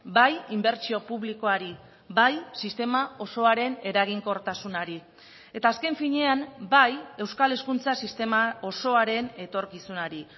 bai inbertsio publikoari bai sistema osoaren eraginkortasunari eta azken finean bai euskal hezkuntza sistema osoaren etorkizunari